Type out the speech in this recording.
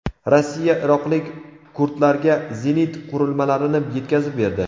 Rossiya iroqlik kurdlarga zenit qurilmalarini yetkazib berdi.